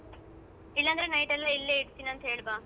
ಇಲ್ಲ ಅಂದ್ರೆ night ಎಲ್ಲ ಇಲ್ಲೇ ಇರ್ತೀನಿ ಅಂತ ಹೇಳ್ಬಾ.